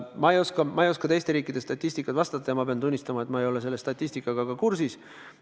Ma ei oska teiste riikide statistika kohta vastata, pean tunnistama, et ma ei ole selle statistikaga kursis.